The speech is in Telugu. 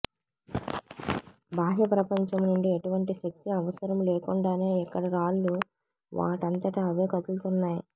బాహ్య ప్రపంచం నుండి ఎటువంటి శక్తి అవసరము లేకుండానే ఇక్కడి రాళ్లు వాటంతట అవే కదులుతున్నాయి